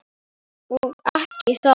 Og ekki heldur hræðslu